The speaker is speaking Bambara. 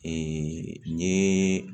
n ye